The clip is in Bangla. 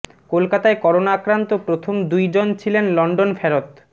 কলকাতায় করোনা আক্রান্ত প্রথম দুই জন ছিলেন লন্ডন ফেরত